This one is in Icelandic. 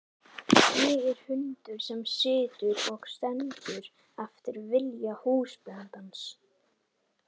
Ég er hundur sem situr og stendur eftir vilja húsbóndans.